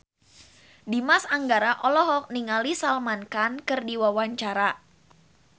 Dimas Anggara olohok ningali Salman Khan keur diwawancara